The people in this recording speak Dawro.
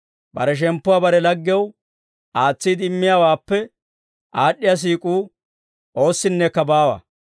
Bare shemppuwaa bare laggew aatsiide immiyaawaappe aad'd'iyaa siik'uu oossinnekka baawa.